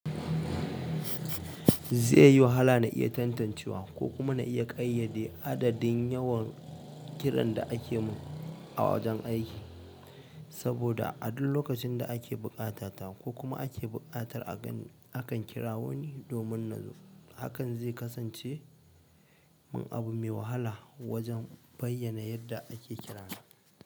Zai yi wahala na iya tantancewa ko kuma na iya ƙayyade adadin yawan kiran da ake min a wajen aiki, saboda a duk lokacin da ake buƙata ta ko kuma ake buƙatar a ganni a kan kira woni. Domin nazo, hakan zai kasance min abu mai wahala wajen bayyana yadda ake kirana.